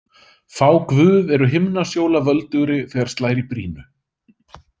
Fá guð eru himnasjóla völdugri þegar slær í brýnu.